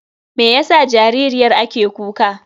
Meyasa jaririyar ake kuka?